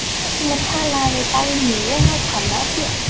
Það var hér sem ég talaði við Dagnýju, nákvæmlega hér.